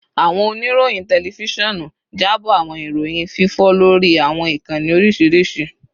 Awọn oniroyin tẹlifisiọnu jabo awọn iroyin fifọ lori awọn ikanni oriṣiriṣi